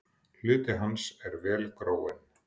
Hluti hans er vel gróinn.